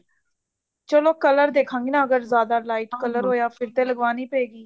ਚਲੋ color ਦੇਖਾਂਗੀ ਨਾ ਅਗਰ ਜਿਆਦਾ lite color ਹੋਇਆ ਫ਼ੇਰ ਤੇ ਲਗਵਾਉਣੀ ਪਵੇਗੀ